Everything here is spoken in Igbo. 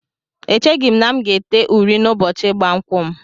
Echeghị m na m ga-ete uri n'ụbọchị ịgba nkwụ m